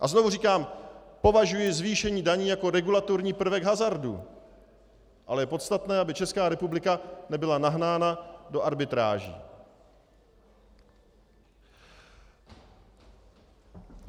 A znovu říkám, považuji zvýšení daní za regulatorní prvek hazardu, ale je podstatné, aby Česká republika nebyla nahnána do arbitráží.